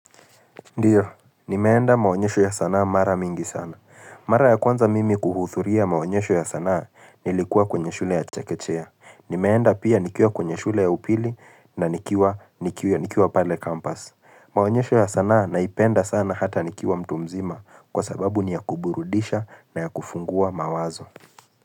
Ndio, nimeenda maonyesho ya sanaa mara mingi sana. Mara ya kwanza mimi kuhudhuria maonyesho ya sanaa nilikuwa kwenye shule ya chekechea. Nimeenda pia nikiwa kwenye shule ya upili na nikiwa pale campus. Maonyesho ya sanaa naipenda sana hata nikiwa mtu mzima kwa sababu ni ya kuburudisha na ya kufungua mawazo.